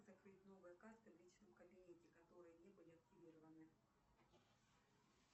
закрыть новые карты в личном кабинете которые не были активированы